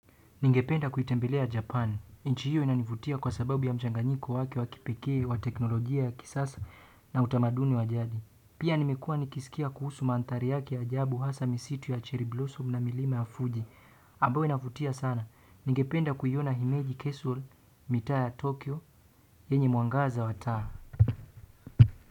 Ningependa kuitembelea Japan. Nchi hiyo inanivutia kwa sababu ya mchanganyiko wake wa kipekee wa teknolojia ya kisasa na utamaduni wa jadi pia nimekua nikisikia kuhusu mandhari yake ajabu hasa misitu ya cheri bloso m na milima ya Fuji. Ambayo inavutia sana. Ningependa kuiona Himeji Kesul mitaa ya Tokyo. Yenye mwangaza wa taa.